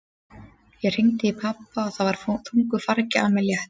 Ég hringdi í pabba og það var þungu fargi af mér létt.